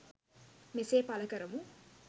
මෙසේ පලකරමු